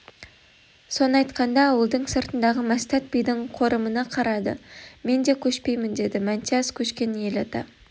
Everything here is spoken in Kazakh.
соны айтқанда ауылдың сыртындағы мәстәт бидің қорымына қарады мен де көшпеймін деді мәтнияз көшкен ел ата